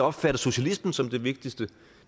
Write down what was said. opfatter socialismen som det vigtigste